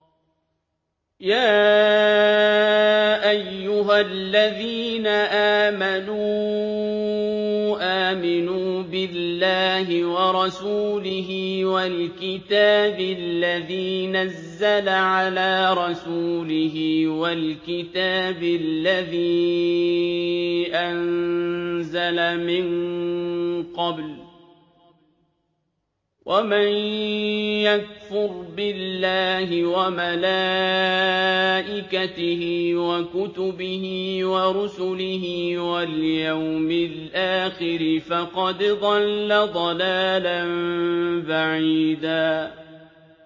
يَا أَيُّهَا الَّذِينَ آمَنُوا آمِنُوا بِاللَّهِ وَرَسُولِهِ وَالْكِتَابِ الَّذِي نَزَّلَ عَلَىٰ رَسُولِهِ وَالْكِتَابِ الَّذِي أَنزَلَ مِن قَبْلُ ۚ وَمَن يَكْفُرْ بِاللَّهِ وَمَلَائِكَتِهِ وَكُتُبِهِ وَرُسُلِهِ وَالْيَوْمِ الْآخِرِ فَقَدْ ضَلَّ ضَلَالًا بَعِيدًا